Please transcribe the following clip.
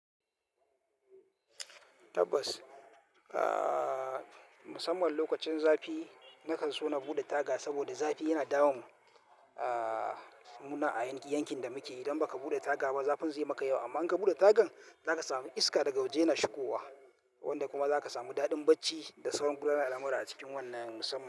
Tabbas, aaaa musamman lokacin zafi na kan so na buɗe taga saboda zafi yana dawon aaaa muna a yankin, yankin da muke idan ba ka buɗe taga ba, zafin zai maka yawa amma in ka buɗe tagan za ka sami iska daga waje yana shigowa wanda kuma za ka sami daɗin bacci da sauran gudanarwa al'amura a cikin wannan musamman.